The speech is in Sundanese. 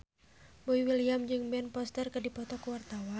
Boy William jeung Ben Foster keur dipoto ku wartawan